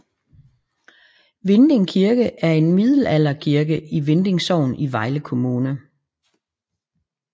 Vinding Kirke er en middelalderkirke i Vinding Sogn i Vejle Kommune